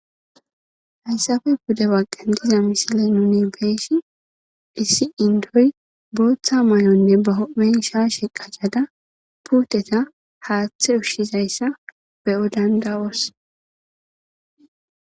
Hayssappe pude baggan diza misile nu be'eshni issi inddoy booththa may7onne ba huuphen shashe qaccada puuteta haaththe ushshizayssa be'o danda'os.